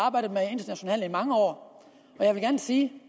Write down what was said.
internationale i mange år og jeg vil gerne sige